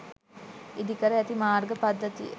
ඉදිකර ඇති මාර්ග පද්ධතිය